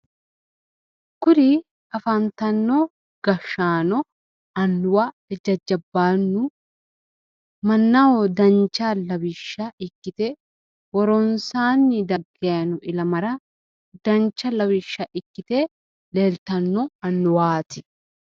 kuri afantino gashshaano, jajabbaannu, mannaho dancha lawishsha ikkite woronsaanni dagganno ilamara dancha lawishsha ikkite leeltanno annuwaati.